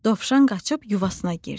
Dovşan qaçıb yuvasına girdi.